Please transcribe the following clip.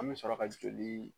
An bɛ sɔrɔ ka joli